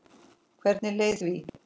Hvernig leið því?